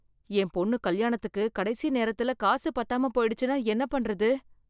என் பொண்ணு கல்யாணத்துக்கு கடைசி நேரத்தில் காசு பத்தாம போயிடுச்சுன்னா என்ன பண்றது?